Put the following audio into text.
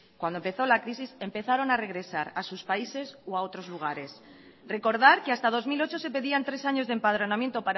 cuando empezó la crisis empezaron a regresar a sus países o a otros lugares recordar que hasta dos mil ocho se pedían tres años de empadronamiento